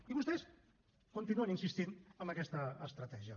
i vostès continuen insistint amb aquesta estratègia